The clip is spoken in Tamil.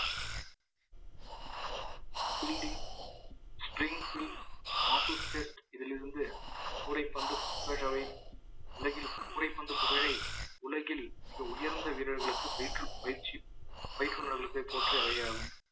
spring field associate இதிலிருந்து கூடைப்பந்து உலகில் கூடைப்பந்து புகழை உலகில் மிக உயர்ந்த வீரர்களுக்கு பயற்று பயிற்சி பயற்று உள்ளவர்களுக்கே போற்றி அவையாகவும்